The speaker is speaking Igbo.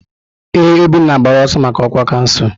Ee, Obinna gbara ọsọ maka ọkwa kansụl.